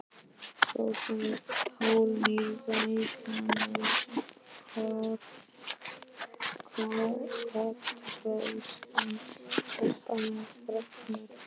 hrópaði Þórunn í Reykjanesi, kotroskin stelpa með freknur.